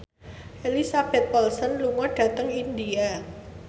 Elizabeth Olsen lunga dhateng India